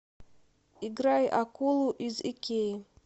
играй акулу из икеи